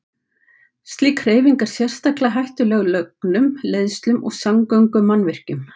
Slík hreyfing er sérstaklega hættuleg lögnum, leiðslum og samgöngumannvirkjum.